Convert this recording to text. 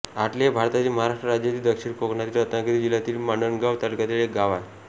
आटले हे भारतातील महाराष्ट्र राज्यातील दक्षिण कोकणातील रत्नागिरी जिल्ह्यातील मंडणगड तालुक्यातील एक गाव आहे